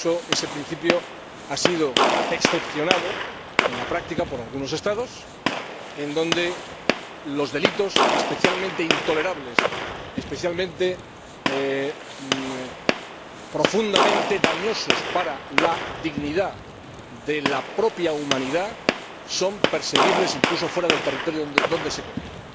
Ese principio ha sido excepcionado en la práctica por algunos Estados donde los delitos especialmente intolerables, profundamente dañosos para la dignidad de la propia humanidad, son perseguibles incluso fuera del territorio donde se cometen.